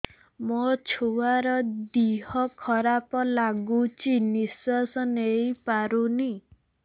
ମୋ ଛୁଆର ଦିହ ଖରାପ ଲାଗୁଚି ନିଃଶ୍ବାସ ନେଇ ପାରୁନି